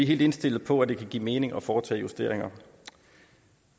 helt indstillet på at det kan give mening at foretage justeringer